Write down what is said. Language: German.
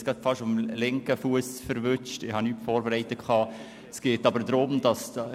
Aufnahme eines zusätzlichen Traktandums: